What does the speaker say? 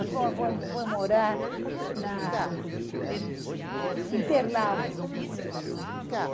Nós fomos, foi morar na Interlagos.